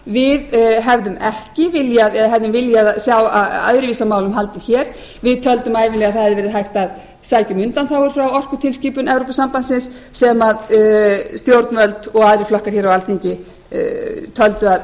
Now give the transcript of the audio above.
við hefðum viljað sjá öðruvísi á málum haldið hér við töldum ævinlega að það hefði verið hægt að sækja um undanþágur frá orkutilskipun evrópusambandsins sem stjórnvöld og aðrir flokkar hér á alþingi töldu